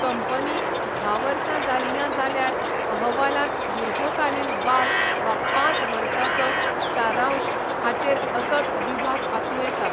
Company धा वर्सां जाली ना जाल्यार अहवालांत दीर्घकालीन वाड वा पांच वर्सांचो सारांश हाचेर असोच विभाग आसूं येता.